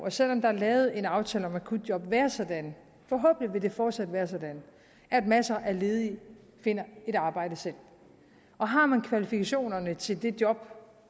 og selv om der er lavet en aftale om akutjob være sådan forhåbentlig vil det fortsat være sådan at masser af ledige finder et arbejde selv og har man kvalifikationerne til det job